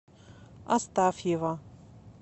астафьева